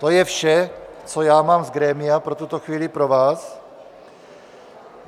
To je vše, co já mám z grémia pro tuto chvíli pro vás.